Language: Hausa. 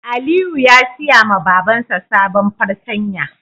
Aliyu ya siya ma Baban sa sabon fartanya